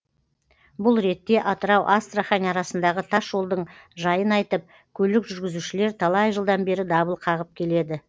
бұл ретте атырау астрахань арасындағы тас жолдың жайын айтып көлік жүргізушілер талай жылдан бері дабыл қағып келеді